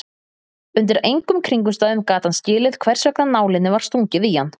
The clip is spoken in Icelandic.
Undir engum kringumstæðum gat hann skilið hversvegna nálinni var stungið í hann.